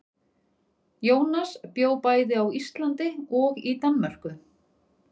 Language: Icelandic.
Jónas bjó bæði á Íslandi og í Danmörku.